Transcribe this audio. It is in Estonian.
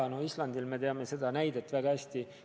Mis toimub Islandil, me teame väga hästi.